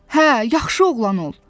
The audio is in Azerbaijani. Hə, yaxşı oğlan ol.